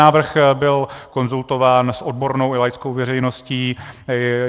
Návrh byl konzultován s odbornou i laickou veřejností.